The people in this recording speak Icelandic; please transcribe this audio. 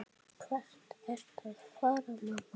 Hvert ertu að fara, mamma?